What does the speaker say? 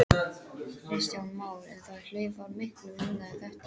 Kristján Már: En það hlaup var miklu minna en þetta?